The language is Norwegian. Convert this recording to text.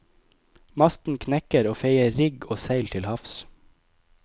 Masten knekker og feier rigg og seil til havs.